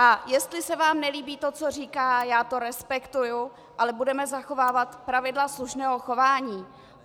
A jestli se vám nelíbí to, co říká, já to respektuji, ale budeme zachovávat pravidla slušného chování.